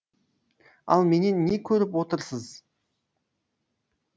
ал менен не көріп отырсыз